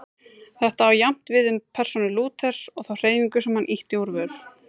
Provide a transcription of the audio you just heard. Þetta á jafnt við um persónu Lúthers og þá hreyfingu sem hann ýtti úr vör.